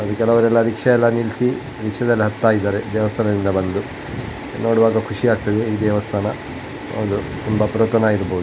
ಅದು ಕೆಳವರೆಲ್ಲ ರಿಕ್ಷಾ ಎಲ್ಲ ನಿಲ್ಲಿಸಿ ರಿಕ್ಷಾದಲ್ಲಿ ಹತ್ತ ಇದ್ದಾರೆ ದೇವಸ್ಥಾನದಿಂದ ಬಂದು ನೋಡುವಾಗ ಖುಷಿ ಆಗುತ್ತೆ ಈ ದೇವಸ್ಥಾನ ಹೌದು ತುಂಬಾ ಪುರಾತನ ಇರಬಹುದು --